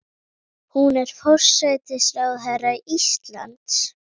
Hún er forsætisráðherra Íslands.